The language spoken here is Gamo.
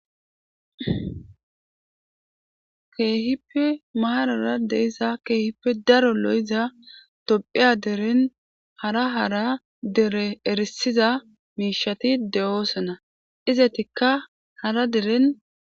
Keehippe maarar de'iza keehippe daro lo'iza tophiya deren hara hara dere etissiza miishati de'osona izetika hara deren.